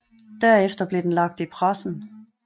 Derefter blev den lagt i pressen